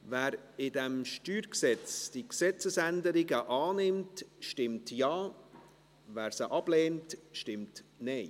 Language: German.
Wer in diesem StG die Gesetzesänderungen annimmt, stimmt Ja, wer diese ablehnt, stimmt Nein.